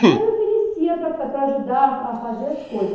E eu me oferecia para para ajudar a a fazer as coisas.